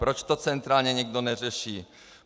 Proč to centrálně nikdo neřeší?